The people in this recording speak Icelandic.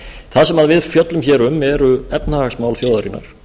það sem við fjöllum hér um eru efnahagsmál þjóðarinnar